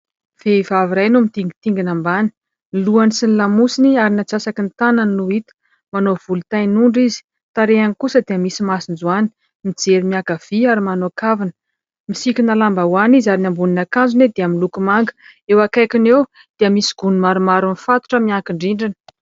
Vehivavy iray no mitingitingina ambany, ny lohany sy ny lamosiny ary ny atsasaky ny tanany no hita, manao volo tain'ondry izy, tarehiny kosa dia misy masonjoany ; mijery miankavia ary manao kavina, misikina lambahoany izy ary ny ambonin'akanjony dia miloko manga ; eo akaikiny eo dia misy gony maromaro mifatotra miankin-drindrina.